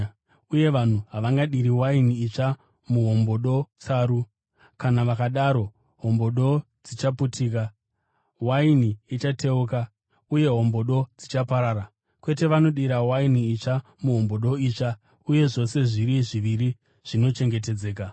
Uye vanhu havangadiri waini itsva muhombodo tsaru. Kana vakadaro, hombodo dzichaputika, waini ichateuka uye hombodo dzichaparara. Kwete, vanodira waini itsva muhombodo itsva uye zvose zviri zviviri zvinochengetedzeka.”